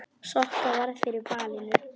Sokka varð fyrir valinu.